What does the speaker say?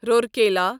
Rourkela